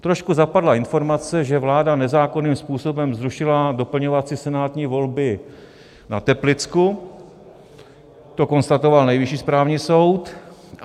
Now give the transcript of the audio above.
Trošku zapadla informace, že vláda nezákonným způsobem zrušila doplňovací senátní volby na Teplicku, to konstatoval Nejvyšší státní soud.